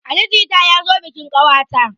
Ali jita ya zo bikin ƙawata.